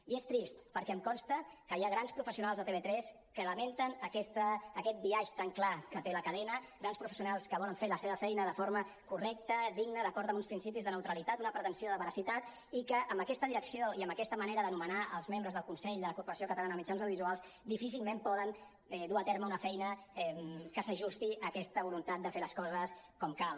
i és trist perquè em consta que hi ha grans professionals a tv3 que lamenten aquest biaix tan clar que té la cadena grans professionals que volen fer la seva feina de forma correcta digna d’acord amb uns principis de neutralitat una pretensió de veracitat i que amb aquesta direcció i amb aquesta manera de nomenar els membres del consell de la corporació catalana de mitjans audiovisuals difícilment poden dur a terme una feina que s’ajusti a aquesta voluntat de fer les coses com cal